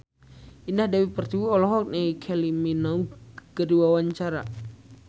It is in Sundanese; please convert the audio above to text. Indah Dewi Pertiwi olohok ningali Kylie Minogue keur diwawancara